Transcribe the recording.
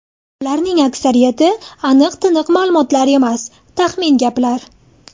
Ularning aksariyati aniq-tiniq ma’lumotlar emas, taxmin gaplar.